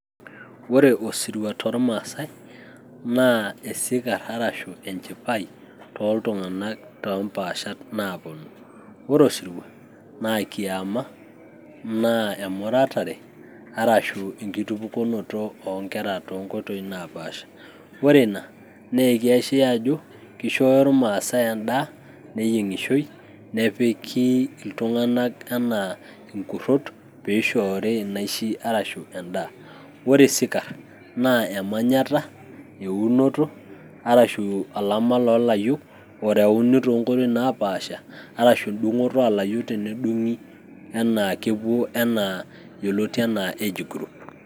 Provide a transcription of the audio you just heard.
Ore osirua toolmasae naa esikarr arashu enchipai, tooltung'anak too mpaashat naaponu, ore osirua naa keema, naa emuratare arashu enkitupukunore oo nkera too nkoitoi napaasha, ore Ina na keishaa ajo toolmasae endaa, neyieng'ishoi, nepiki iltung'anak enaa ing'urrot peishori enaishi arashu endaa. Ore esikarr naa emanyata, eunoto, arashu olamal loo layiok oreuni too nkoitoi napaasha arashu edung'oto oo layiok tenedung'i enaa kepuo enaa yieloti enaa age group